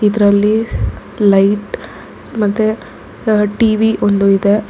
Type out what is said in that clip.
ಇದರಲ್ಲಿ ಲೈಟ್ ಮತ್ತೆ ಟಿ_ವಿ ಒಂದು ಇದೆ.